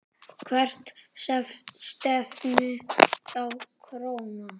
Hvert stefnir þá krónan?